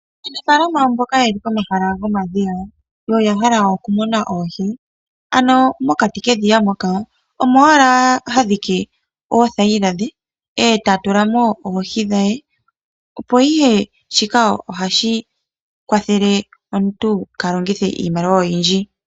Aanafaalama mboka ye li komahala gomadhiya noya hala okumuna oohi, oha dhike wala oothayila dhe mokati komadhiya, e ta tula mo oohi dhe. Shika ohashi kwathele omuntu opo kaa ha longithe iimaliwa oyindji.